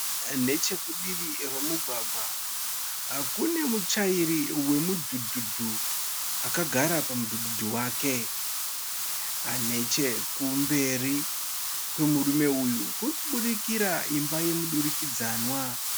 Nechekurutivi kwemugwagwa, kune mutyairi wemudhudhudhu akagara pamudhudhudhu wake. Nechekumberi kwemurume uyu kuribudikira imba yemudurikidzwana.